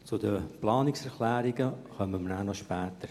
Zu den Planungserklärungen kommen wir später.